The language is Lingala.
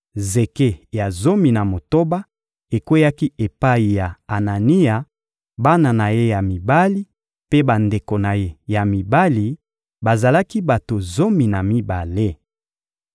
Zeke ya zomi na motoba ekweyaki epai ya Anania, bana na ye ya mibali mpe bandeko na ye ya mibali: bazalaki bato zomi na mibale.